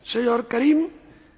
Panie Przewodniczący!